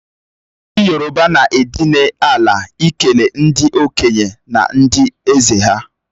Ndi yoroba n'edinala ikele ndi okenye na ndi eze ha.